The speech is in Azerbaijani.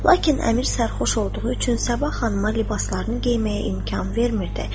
Lakin Əmir sərxoş olduğu üçün Sabah xanıma libaslarını geyməyə imkan vermirdi.